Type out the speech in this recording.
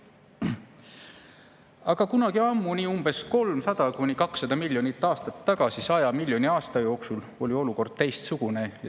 Aga kunagi ammu, 200–300 miljonit aastat tagasi 100 miljoni aasta jooksul oli olukord teistsugune.